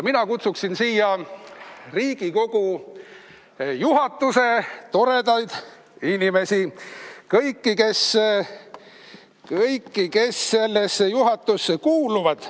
Kutsun siia Riigikogu juhatuse toredad inimesed, kõik, kes juhatusse kuuluvad.